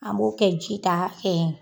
An b'o kɛ ji ta hakɛ ye.